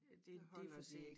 Øh det det for sent